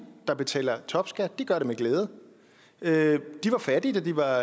der betaler topskat gør det med glæde glæde de var fattige da de var